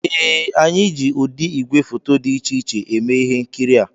Ee, anyị ji ụdị igwefoto dị iche iche eme ihe nkiri a